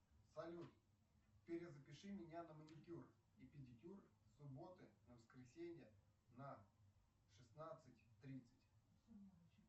салют перезапиши меня на маникюр и педикюр с субботы на воскресенье на шестнадцать тридцать